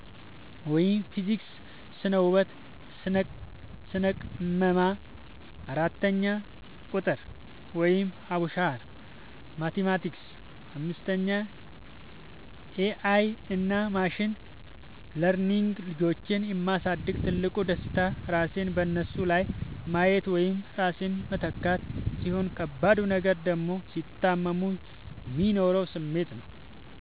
(ፊዚክስ፣ ስነ - ህወት፣ ስነ - ቅመማ) 4. ቁጥር ( አቡሻኽር፣ ማቲማቲክስ ...) 5. ኤ አይ እና ማሽን ለርኒንግ ልጆችን የ ማሳደግ ትልቁ ደስታ ራስን በነሱ ላይ ማየት ወይም ራስን መተካት፣ ሲሆን ከባዱ ነገር ደግሞ ሲታመሙ የሚኖረው ስሜት ነው።